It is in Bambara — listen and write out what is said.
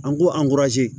An ko